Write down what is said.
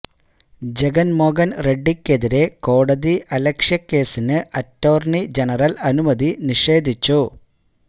ജഗൻമോഹൻ റെഡിക്കെതിരെ കോടതി അലക്ഷ്യ കേസിന് അറ്റോർണി ജനറൽ അനുമതി നിഷേധിച്ചു